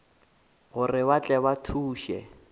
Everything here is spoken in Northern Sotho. gore ba tle ba thuše